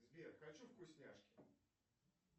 сбер хочу вкусняшки